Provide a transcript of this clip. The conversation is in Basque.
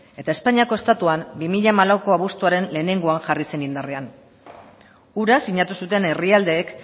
eta espainiako estatuan bi mila hamalauko abuztuaren lehengoan jarri zen indarrean hura sinatu zuten herrialdeek